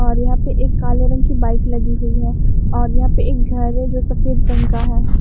और यहां पे एक काले रंग की बाइक लगी हुई है और यहां पे एक घर है जो सफेद रंग का है।